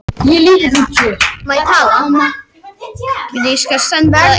Flestir leikmenn vilja spila ef þeim líður vel andlega.